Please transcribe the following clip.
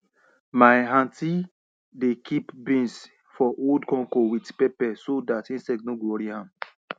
my aunty dey kip beans for old conco wit pepper so dat insect no go wori am